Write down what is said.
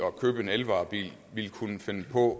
at købe en elvarebil ville kunne finde på